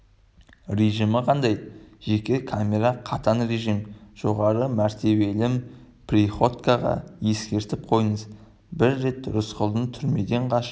режимі қандай жеке камера қатаң режим жоғары мәртебелім приходькоға ескертіп қойыңыз бір рет рысқұлдың түрмеден қашып